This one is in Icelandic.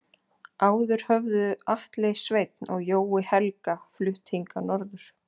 Áður höfðu Atli Sveinn og Jói Helga flutt hingað norður.